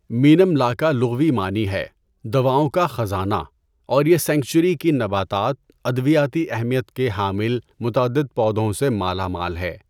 مینم لا کا لغوی معنی ہے 'دواؤں کا خزانہ'، اور یہ سینکچوئری کی نباتات ادویاتی اہمیت کے حامل متعدد پودوں سے مالا مال ہے۔